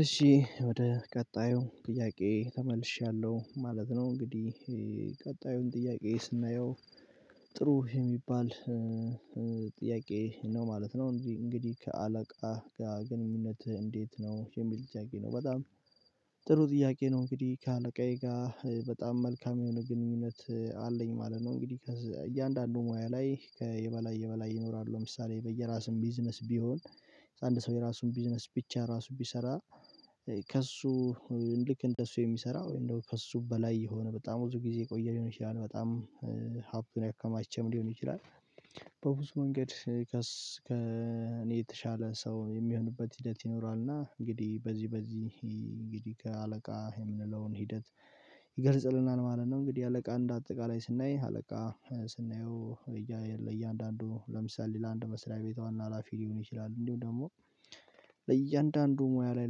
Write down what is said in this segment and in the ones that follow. እሺ ወደ ቀጣዩ ጥያቄ ተመልሻለው ማለት ነው። እንግዲህ ቀጣዩን ጥያቄ ስናየው ጥሩ የሚባል ጥያቄ ነው ማለት ነው እንጂ እንግዲህ ከአለቃ ጋር ግንኙነትህ እንዴት ነው? የሚል ጥያቄ ነው በጣም ጥሩ ጥያቄ ነው እንግዲህ ከአለቃዬ ጋር በጣም መልካም የሆነ ግንኙነት አለኝ ማለት ነው እንግዲህ እያንዳንዱ ሙያ ላይ ከየበላይ የበላይ ይኖራሉ ለምሳሌ በየራሱም ቢዝነስ ቢሆን አንድ ሰው የራሱን ቢዝነስ ብቻ ራሱ ቢሰራ ከእሱ ልክ እንደሱ የሚሰራ ወይም ደግሞ ከእሱ በላይ የሆነ በጣም ብዙ ጊዜ የቆየ ሊሆን ይችላል በጣም ሀብትን ያከማቸም ሊሆን ይችላል በብዙ መንገድ ከእኔ የተሻለ ሰው የሚሆንበት ሂደት ይኖራል እና እንግዲህ በዚህ በዚህ እንግዲህ ከአለቃ የምንለውን ሂደት ይገልጽልናል ማለት ነው። እንግዲህ አለቃ እንደ አጠቃላይ ስናይ አለቃ ስናየው እያንዳንዱ ለምሳሌ ለአንድ መስሪያ ቤት ሀላፊ ሊሆን ይችላል እንዲሁም ደግሞ ለእያንዳንዱ ሙያ ላይ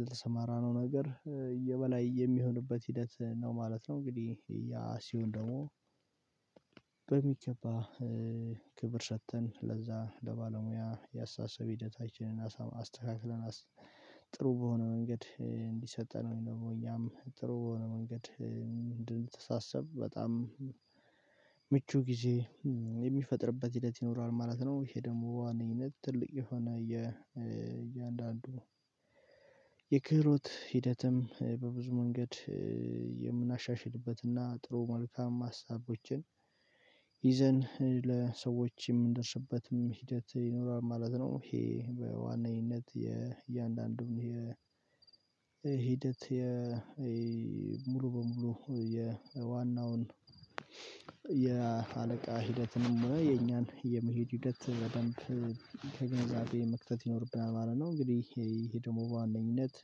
ለተሰማራ ነው ነገር የበላይ የሚሆንበት ሂደት ነው ማለት ነው። እንግዲህ ያ ሲሆን ደግሞ በሚገባ ክብር ሰጥተን ለዛ ለባለሙያ የአስተሳሰብ ሂደታችንን አስተካክለን ጥሩ በሆነ መንገድ እንዲሰጠን ደግሞ እኛም ጥሩ የሆነ መንገድ አንድንተሳሰብ በጣም ምቹ ጊዜ የሚፈጥርበት ሂደት ይኖራል ማለት ነው ይሄ ደግሞ ዋነኝነት ትልቅ የሆነ እያንዳንዱ የክህሮት ሂደትም በብዙ መንገድ የምናሻሽልበትና ጥሩ መልካም ሀሳቦችን ይዘን ለሰዎች የምንደርስበትም ሂደት ይኖራል ማለት ነው ይሄ በዋናይነት የእያንዳንዱን የ ሂደት የ ሙሉ በሙሉ የዋናውን የአለቃ ሂደትንም የኛን የመሄድ ሂደት በደንብ ከግንዛቤ መክተት ይኖርብናል ማለት ነው እንግዲህ ይሄ ደግሞ በዋነኝነት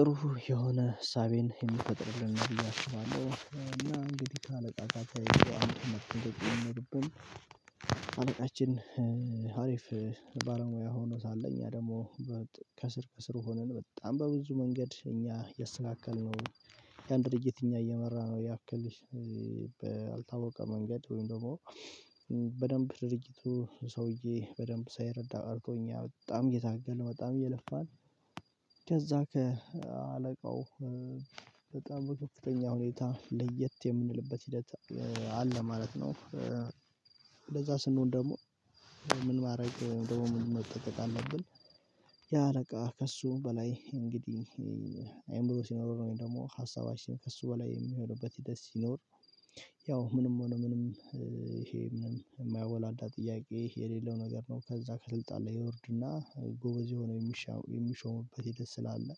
ጥሩ የሆነ ሀሳብን የምትፈጥርልን ነው ብዬ አስባለው አና እንግዲህ ካለቃቃችሁ አንተ መጥቶ ነው የምርበት አለቃችን አሪፍ ባለሙያ ሆኖ ሳለ እኛ ደግሞ ከስር ከስር ሆነን በጣም በብዙ መንገድ እኛ የሰካከልነው የአንድ ድርጅት እኛ እየመራ ነው ያክልሽ በአልታወቀ መንገድ ወይም ደግሞ በደንብ ድርጅቱ ሰውዬ በደንብ ሳይረዳ አርጎኛል በጣም እየታገልን በጣም እየለፋን ከዛ ከአለቃው በጣም ከፍተኛ ሁኔታ ለየት የምንልበት ሂደት አለ ማለት ነው እንደዛ ስንሆን ደግሞ ምን ማድረግ ደግሞ ምን መጠንቀቅ አለብን ያ ለቃ ከእሱ በላይ እንግዲህ አይምሮ ሲኖር ነው ወይም ደግሞ ሀሳባችን ከእሱ በላይ የሚሆኑበት ደስ ይኖር ያው ምንም ሆነ ምንም ይሄ ምንም የማያወላዳ ጥያቄ የሌለው ነገር ነው ከዛ ከስልጣን ላይ ይወርድና ጎበዝ የሆነ የሚሾምበት ሂደት ስላለ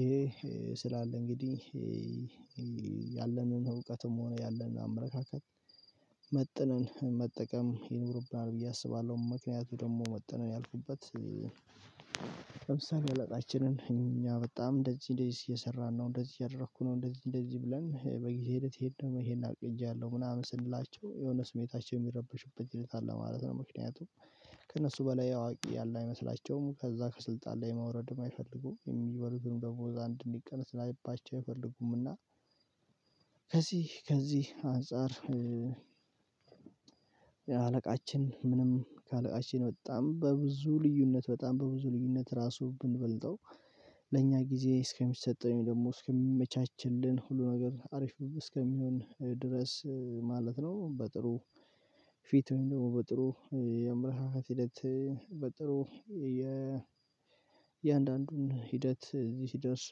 ይሄ ስላለ እንግዲህ ያለንን እውቀትም ሆነ ያለንን አመለካከት መጥነን መጠቀም ይኖርብናል ብዬ አስባለዉ። ምክንያቱ ደግሞ መጥነን ያልኩበት ለምሳሌ እለቃችንን እኛ በጣም እንደዚህ እንደዚህ እየሰራን ነው እንደዚህ እያደረኩ ነው እንደዚህ እንደዚህ ብለን በጊዜ ሂድ ሄድ ደግሞ ይሄን አቅጃለሁ ምናምን ስንላቸው የሆነ ስሜታቸው የሚረበሽበት ሂደት አለ ማለት ነው ምክንያቱም ከእነሱ በላይ አዋቂ ያለ አይመስላቸውም ከዛ ከስልጣን ላይ ማውረድም አይፈልጉም የሚበሉትን ደግሞ እዛ እንድንቀንስ ላይባቸው አይፈልጉምና ከዚህ ከዚህ አንፃር አለቃችን ምንም ካለቃችን በጣም በብዙ ልዩነት በጣም በብዙ ልዩነት ራሱ ብንበልጠው ለእኛ ጊዜ እስከሚሰጠኝ ደግሞ እስከሚመቻችልን ሁሉ ነገር አሪፍ እስከሚሆን ድረስ ማለት ነው በጥሩ ፊት ደግሞ በጥሩ የምርራት ሂደት በጥሩ የእያንዳንዱን ሂደት እዚህ ሲደርስ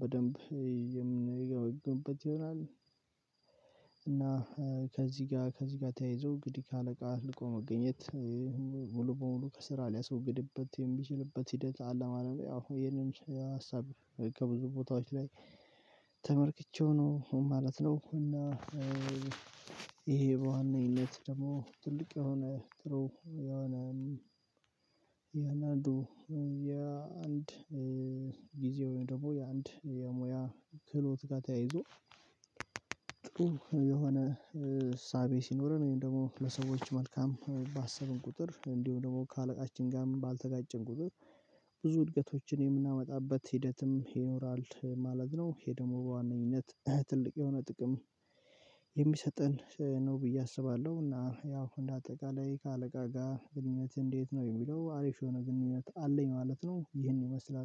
በደንብ የምንገመግምበት ይሆናል እና ከዚህ ጋር ከዚህ ጋር ተያይዞ እንግዲህ ከአለቃ ልቆ መገኘት ሙሉ በሙሉ ከስራ ሊያስወግድበት የሚችልበት ሂደት አለማለም አሁን ይሄንን ሀሳብ ከብዙ ቦታዎች ላይ ተመርክቼው ነው ማለት ነው። እና ይሄ በዋነኝነት ደግሞ ትልቅ የሆነ ጥሩ የሆነ የናንዱ የአንድ ጊዜው ደግሞ የአንድ የሙያ ክህሎት ጋር ተያይዞ የሆነ ሳቤ ሲኖርን ወይም ደግሞ ለሰዎች መልካም ባሰብን ቁጥር እንዲሁ ደግሞ ከአለቃችን ጋርም ባልተጋጨን ቁጥር ብዙ ውድቀቶችን የምናመጣበት ሂደትም ይኖራል ማለት ነው። ይሄ ደግሞ በዋነኝነት ትልቅ የሆነ ጥቅም የሚሰጠን ነው ብዬ አስባለው እና ያው እንደ አጠቃላይ ከአለቃ ጋር ግንኙነት እንዴት ነው የሚለው አሪፍ የሆነ ግንኙነት አለኝ ማለት ነው ይህን ይመስላል